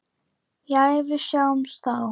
Jæja, við sjáumst þá.